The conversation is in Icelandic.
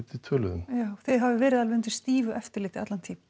við töluðum þið hafið verið undir stífu eftirliti allan tímann